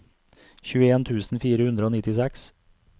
tjueen tusen fire hundre og nittiseks